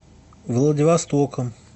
владивостоком